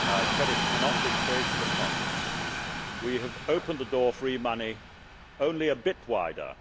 credit cannot be created upon them. We have opened the door for e money only a bit wider.